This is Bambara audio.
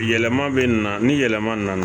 Yɛlɛma bɛ na ni yɛlɛma nana